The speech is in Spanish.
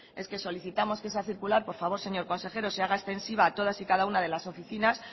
es que solicitamos que esa circular por favor señor consejero se haga extensiva a todas y cada uno de las oficinas